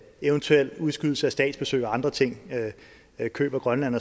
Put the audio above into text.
eventuel udskydelse af statsbesøg og andre ting køb af grønland